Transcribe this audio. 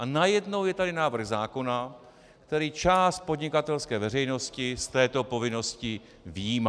A najednou je tady návrh zákona, který část podnikatelské veřejnosti z této povinnosti vyjímá.